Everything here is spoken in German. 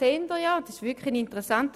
Der Vortrag ist wirklich interessant;